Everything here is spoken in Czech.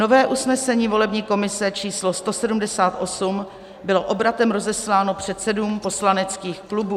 Nové usnesení volební komise číslo 178 bylo obratem rozesláno předsedům poslaneckých klubů.